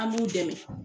An b'u dɛmɛ